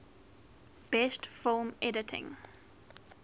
best film editing